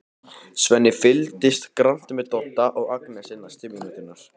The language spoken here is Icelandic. Svenni fylgist grannt með Dodda og Agnesi næstu mínúturnar.